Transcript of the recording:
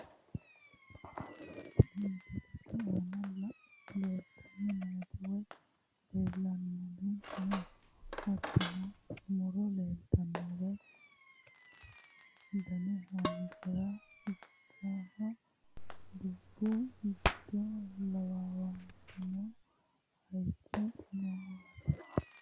Tini misilete aana leeltanni nooti wayi leellanni no, hattono muro leeltanno wayi dani haanjirara ikkinoho ,dubbu giddo lawannowaatinna hayiisso noowaati.